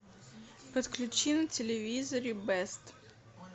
подключи на телевизоре бест